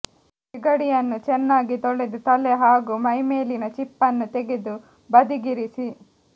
ಸಿಗಡಿಯನ್ನು ಚೆನ್ನಾಗಿ ತೊಳೆದು ತಲೆ ಹಾಗೂ ಮೈಮೇಲಿನ ಚಿಪ್ಪನ್ನು ತೆಗೆದು ಬದಿಗಿರಿಸಿ